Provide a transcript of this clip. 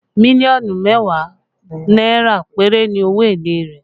Million mẹ́wàá náírà péré ni owó èlé rẹ̀